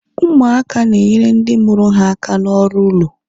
ụmụaka na-enyere ndị mụrụ ha aka n'ọrụ ụlọ